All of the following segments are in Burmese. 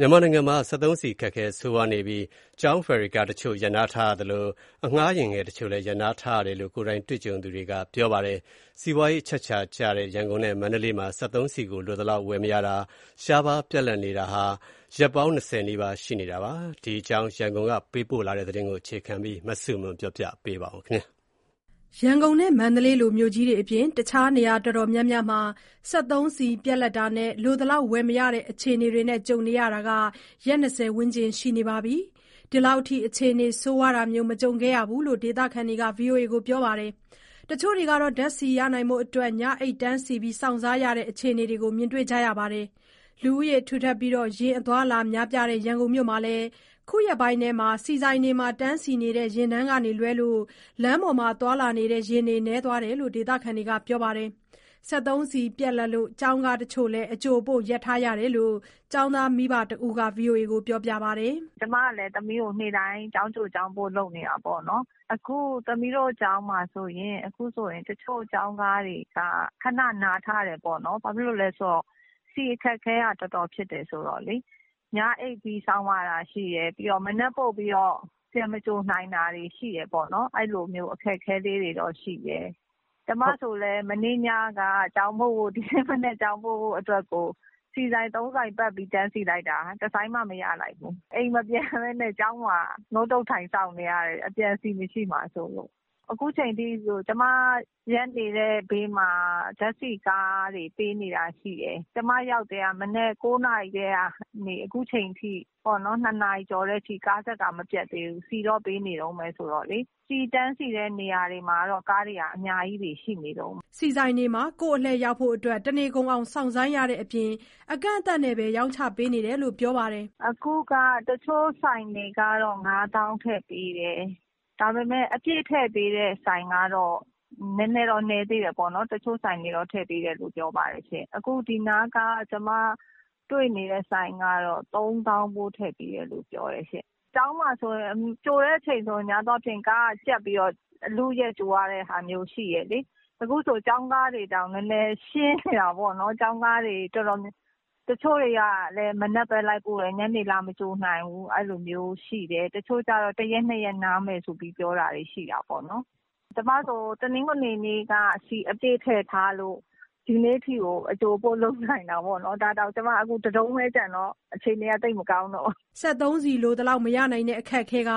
မြန်မာနိုင်ငံမှာ စက်သုံးဆီ အခက်အခဲ ဆိုးရွားနေပြီး လက်ရှိ ကျောင်းဖယ်ရီကားတချို့ ရပ်နားထားရသလို၊ ခရီးသည်ပို့ဆောင်ပေးနေတဲ့ အငှားယာဉ်ငယ်တချို့လည်း ရပ်ထားရတယ်လို့ ကိုယ်တိုင်ကြုံတွေ့သူတွေက ဗွီအိုအေကိုပြောပါတယ်။ စီးပွားရေးအချက်အချာကျတဲ့ ရန်ကုန်နဲ့ မန္တလေးမှာ စက်သုံးဆီကို လိုသလောက် ဝယ်မရတာ၊ ရှားပါးပြတ်လပ်နေတာဟာ ရက်ပေါင်း၂၀ နီးပါးရှိနေတာပါ။ ရန်ကုန်ကပေးပို့ထားတဲ့ သတင်းကိုအခြေခံပြီး တင်ပြထားပါတယ်။ ရန်ကုန်နဲ့ မန္တလေးလို မြို့ကြီးတွေအပြင် အခြား နေရာတော်တော်များများမှာ စက်သုံးဆီပြတ်လပ်တာနဲ့ လိုသလောက်ဝယ်မရတဲ့ အခြေအနေတွေ ကြုံနေရတာ ရက် ၂၀ ဝန်းကျင်ရှိနေပြီး ဒီလောက်ထိ အခြေအနေဆိုးရွားတာမျိုးမကြုံခဲ့ရဘူးလို့ ဒေသခံတွေက ပြောပါတယ်။ တချို့တွေ ဓါတ်ဆီ ရနိုင်ဖို့အတွက် ညအိပ်တန်းစီစောင့်ဆိုင်းရတဲ့ အခြေအနေတွေကို မြင်တွေ့ကြရပါတယ်။ လူဦးရေထူထပ်ပြီး ယာဉ်အသွားအလာများပြားတဲ့ ရန်ကုန်မြို့မှာလည်း အခုရက်ပိုင်းထဲ ဆီဆိုင်တွေမှာ တန်းစီနေတဲ့ ယာဉ်တန်းကလွဲရင် လမ်းပေါ်မှာသွားလာနေတဲ့ ယာဉ်တွေနည်းသွားတယ်လို့ ဒေသခံတွေက ပြောပါတယ်။ စက်သုံးဆီပြတ်လပ်လို့ ကျောင်းကားတချို့လည်း အကြိုအပို့ရပ်ထားတယ်လို့ ကျောင်းသားမိဘတဦးက ဗွီအိုအေကို ပြောပါတယ်။ "ကျမလည်း သမီးကို နေ့တိုင်း ကျောင်းကြို၊ ကျောင်းပို့ လုပ်နေတာပေါ့နော်။ အခု သမီးတို့ကျောင်းမှာဆိုရင် တချို့ကျောင်းကားတွေက ခဏနားထားတယ်။ ဘာဖြစ်လို့လဲဆိုတော့ ဆီအခက်အခဲက တော်တော်ဖြစ်နေတာ။ ညအိပ်ပြီး စောင့်ရတာရှိတယ်။ ပြီးတော့ မနက်ပို့ပြီးတော့ ပြန်မကြိုနိုင်တာတွေ ရှိတယ်ပေါ့နော်။ အဲလိုမျိုး အခက်အခဲတွေတော့ရှိတယ်။ ကျမဆိုလည်း ဒီနေ့မနက် ကျောင်းပို့ဖို့အတွက်ကို မနေ့ညက ဆီဆိုင် ၃ဆိုင်ပတ်ပြီးတော့ တန်းစီလိုက်တာ တဆိုင်မှမရလိုက်ဘူး။ အခု အိမ်မပြန်ဘဲနဲ့ ကျောင်းမှာ ထိုင်စောင့်နေရတယ်။ အပြန် ဆီမရှိမှာစိုးလို့။ အခုချိန်ထိ ကျမကားရပ်နေတဲ့ဘေးမှာ ဓာတ်ဆီကားတွေ ပေးနေတာရှိတယ်။ ကျမရောက်နေတာ မနက် ၉နာရီကနေ အခုနေ့လည် ၂နာရီကျော်တဲ့အထိ ကားတန်းကမပြတ်သေးဘူး။ ဒီနေ့အထိ ဆီတန်းစီတဲ့ နေရာတွေမှာကတော့ ကားတွေက အများကြီးရှိနေတုန်းပဲ။" ဆီဆိုင်တွေမှာ ကိုယ့်အလှည့်ရောက်ဖို့ တနေကုန်အောင် စောင့်ဆိုင်းရတဲ့အပြင် အကန့်အသတ်နဲ့သာ ရောင်းချပေးနေတာလို့ ပြောပါတယ်။ "အခုက တချို့ဆိုင်တွေကတော့ ၅သောင်းထည့်ပေးတယ်။ ဒါပေမဲ့ အပြည့်ထည့်ပေးတဲ့ ဆိုင်ကတော့ နည်းသေးတယ်ပေါ့နော်။ အခုဒီနားက ကျမတွေ့နေတဲ့ ဆိုင်ကတော့ ၃သောင်းဖိုး ထည့်ပေးတယ်လို့ပြောတယ်။ ကျောင်းမှာဆိုရင် ကြိုတဲ့အချိန်ဆိုရင် ကားကြပ်ပြီးတော့ အလုအယက်ကြိုရတာမျိုး ရှိတယ်လေ။ အခုဆိုရင် ကျောင်းကားတွေတောင် နည်းနည်းရှင်းနေတယ်။ တချို့ကျောင်းကားတွေလည်း မနက်လိုက်ပို့တယ်၊ ညနေလာမကြိုနိုင်ဘူး။ တချို့ကျတော့ ၁ရက်၊ ၂ရက် နားမယ်ဆိုပြီး ပြောထားတာရှိတယ်။ ကျမဆိုရင် တနင်္ဂနွေနေ့က ဆီအပြည့်ထည့်ထားလို့ ဒီနေ့အထိကို အကြိုအပို့လုပ်နိုင်တာ။ ဒါတောင် အခု တတုံးပဲကျန်တော့ အခြေအနေက သိပ်မကောင်းတော့ဘူး။" စက်သုံးဆီလိုသလောက် မရနိုင်တဲ့အခက်အခဲက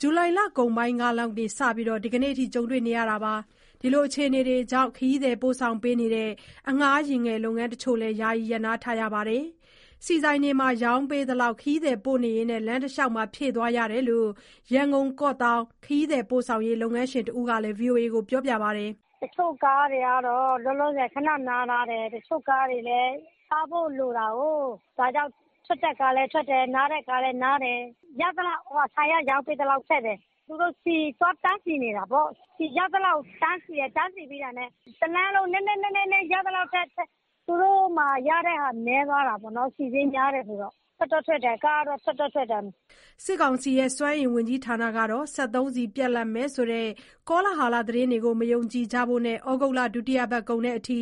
ဇူလိုင်လကုန်ပိုင်းလောက်ကစပြီး ဒီကနေ့အထိ ကြုံတွေ့နေရတာပါ။ ဒီအခြေအနေတွေကြောင့် ခရီးသည်ပို့ဆောင်ပေးနေတဲ့ အငှားယာဉ်ငယ်လုပ်ငန်းတချို့လည်း ယာယီရပ်နားထားရပါတယ်။ ဆီဆိုင်တွေမှာ ရောင်းပေးသလောက် ခရီးသည်ပို့နေရင်း လမ်းတလျှောက်ဖြည့်သွားရတယ်လို့ ရန်ကုန်-ကော့သောင်း ခရီးသည်ပို့ဆောင်ရေး လုပ်ငန်းရှင်တဦးက ဗွီအိုအေကို ပြောပါတယ်။ "တချို့ကားတွေကတော့ လောလောဆယ် ခဏနားထားတယ်။ တချို့ကားတွေလည်း စားဖို့လိုတာကို။ ဒါကြောင့် ထွက်တဲ့ကားလည်း ထွက်တယ်၊ နားတဲ့ကားလည်း နားတယ်။ ဆီကတော့ ရသလောက် ဆိုင်ကရောင်းပေးသလောက် ထည့်တယ်။ သူတို့ ဆီသွားတန်းစီနေတာပေါ့။ တန်းစီပြီးတာနဲ့ တလမ်းလုံး ရသလောက် နည်းနည်းစီထည့်ရတာ။ ကားတွေလည်း ရတဲ့ငွေနည်းသွားတယ်၊ ဆီစျေးက များနေတော့။ ကားတွေက ထွက်တော့ထွက်ပါတယ်။" စစ်ကောင်စီရဲ့ စွမ်းအင်ဝန်ကြီး ဌာနကတော့ စက်သုံးဆီပြတ်လပ်မယ်ဆိုတဲ့ ကောလဟာလသတင်းတွေကို မယုံကြဖို့နဲ့ ဩဂုတ်လ ဒုတိယပတ်ကုန်အထိ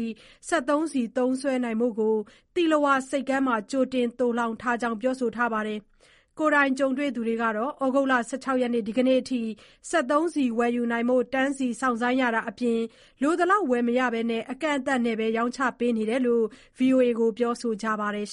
စက်သုံးဆီသုံးစွဲနိုင်ဖို့ကို သီလဝါဆိပ်ကမ်းမှာ ကြိုတင်သိုလှောင်ထားကြောင်း ပြောဆိုထားပါတယ်။ ကိုယ်တိုင်ကြုံတွေ့သူတွေကတော့ ဩဂုတ်လ ၁၆ ရက်၊ ဒီကနေ့အထိ စက်သုံးဆီဝယ်ယူနိုင်ဖို့ တန်းစီစောင့်ဆိုင်းရတာအပြင် လိုသလောက် ဝယ်မရဘဲ အကန့်အသတ်နဲ့သာ ရောင်းချပေးနေတယ်လို့ ဗွီအိုအေကို ပြောဆိုခဲ့ကြပါတယ်။